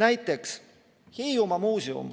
Näiteks Hiiumaa Muuseum